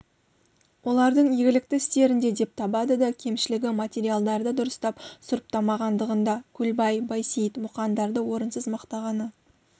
олардың игілікті істерінде деп табады да кемшілігі материалдарды дұрыстап сұрыптамағандығында көлбай байсейіт мұқандарды орынсыз мақтағаны